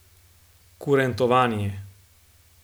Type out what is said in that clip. Kurentovanje.